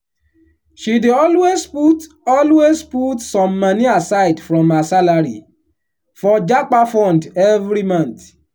she dey always put always put some moni aside from her salary for 'japa fund' every month.